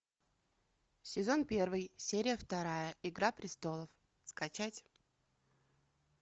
сезон первый серия вторая игра престолов скачать